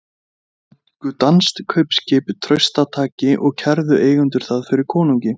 Þeir tóku danskt kaupskip traustataki og kærðu eigendur það fyrir konungi.